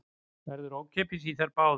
Verður ókeypis í þær báðar